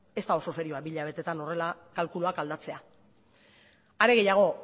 ez da oso serioa bi hilabeteetan horrela kalkuluak aldatzea are gehiago